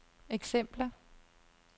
eksempler